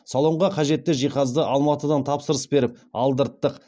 салонға қажетті жиһазды алматыдан тапсырыс беріп алдырттық